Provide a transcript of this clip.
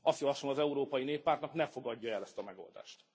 Azt javasolom az Európai Néppártnak, ne fogadja el ezt a megoldást.